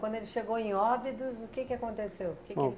Quando ele chegou em Óbidos, o que aconteceu? Que que